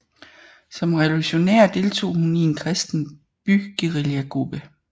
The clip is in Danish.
Som revolutionær deltog hun i en kristen byguerillagruppe